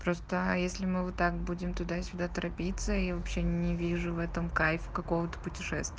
просто если мы так будем туда-сюда торопиться и вообще не вижу в этом кайф какого-то путешествие